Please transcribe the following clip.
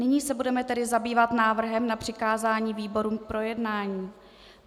Nyní se tedy budeme zabývat návrhem na přikázání výborům k projednání.